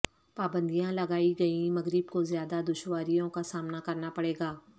پابندیاں لگائی گئیں مغرب کو زیادہ دشواریوں کا سامنا کرنا پڑے گا